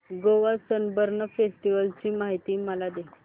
Goa Sunburn festival ची माहिती मला दे